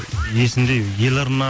есімде еларна